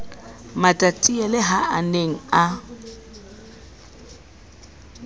matatiele ha a ne a